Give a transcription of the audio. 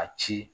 A ci